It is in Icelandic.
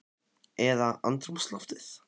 Eða andrúmsloftið?